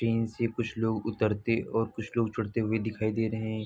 Train से कुछ लोग उतरते और कुछ लोग चढ़ते हुए दिखाई दे रहे हैं।